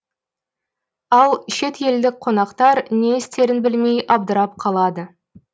ал шет елдік қонақтар не істерін білмей абдырап қалады